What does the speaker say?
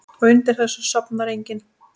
Og undir þessu sofnar enginn.